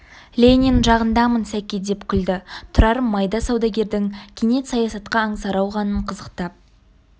ленин жағындамын сәке деп күлді тұрар майда саудагердің кенет саясатқа аңсары ауғанын қызықтап